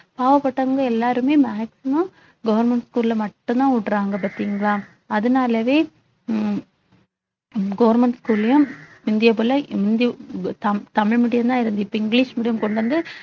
பாவப்பட்டவங்க எல்லாருமே maximum government school ல மட்டும்தான் உடுறாங்க பார்த்தீங்களா அதனாலவே உம் government school லயும் முந்திய போல தமிழ் medium தான் இருந்து இப்ப இங்கிலிஷ் medium கொண்டு வந்து